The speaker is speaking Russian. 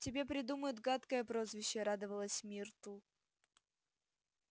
тебе придумают гадкое прозвище радовалась миртл